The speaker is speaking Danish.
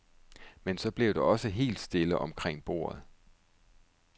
Men så blev der også helt stille omkring bordet.